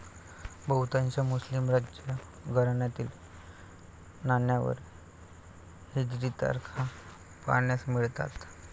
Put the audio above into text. बहुतांश मुस्लिम राजघराण्यातील नाण्यांवर हिजरी तारखा पाहावयास मिळतात.